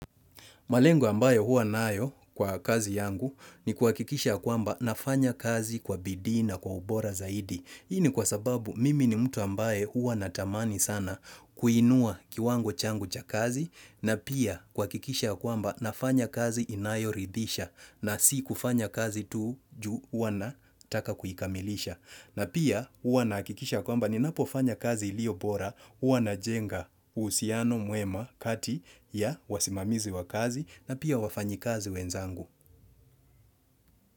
Malengo ambayo huwa nayo kwa kazi yangu ni kuhakikisha kwamba nafanya kazi kwa bidii na kwa ubora zaidi. Hii ni kwa sababu mimi ni mtu ambaye huwa natamani sana kuinua kiwango changu cha kazi na pia kuhakikisha kwamba nafanya kazi inayoridhisha na si kufanya kazi tu juu hua nataka kuikamilisha. Na pia huwa nahakikisha kwamba ninapofanya kazi iliyo bora, huwa najenga uhusiano mwema kati ya wasimamizi wa kazi na pia wafanyikazi wenzangu.